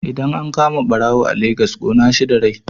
Idan an kama ɓarawo a Lagos ƙona shi da rai